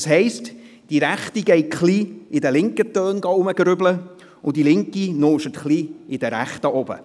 Das heisst, die Rechte grübelt ein wenig in den linken Tönen, und die Linke stöbert etwas in den rechten Tönen herum.